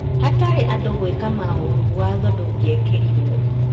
Hatarĩ andũ gwĩka maũru watho ndũngĩekĩrirwo